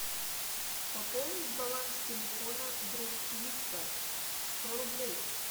пополнить баланс телефона друг виктор сто рублей